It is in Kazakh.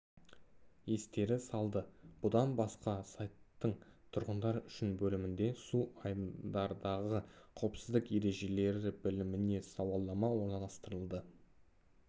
естері салды бұдан басқа сайттың тұрғындар үшін бөлімінде су айдындардағы қауіпсіздік ережелері біліміне сауалмана орналастырылды